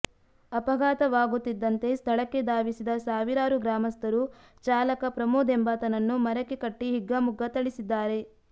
ಅಪಘಾತವಾಗುತ್ತಿದ್ದಂತೆ ಸ್ಥಳಕ್ಕೆ ಧಾವಿಸಿದ ಸಾವಿರಾರು ಗ್ರಾಮಸ್ಥರು ಚಾಲಕ ಪ್ರಮೋದ್ ಎಂಬಾತನನ್ನು ಮರಕ್ಕೆ ಕಟ್ಟಿ ಹಿಗ್ಗಾಮುಗ್ಗಾ ಥಳಿಸಿದ್ದಾರೆ